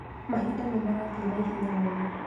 Mahinda nĩmarathiĩ naihenya mũno